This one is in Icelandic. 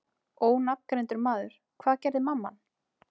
Ónafngreindur maður: Hvað gerði mamman?